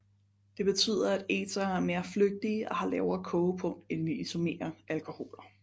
Det betyder at ethere er mere flygtige og har lavere kogepunkt end de isomere alkoholer